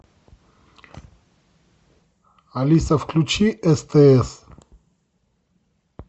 алиса включи стс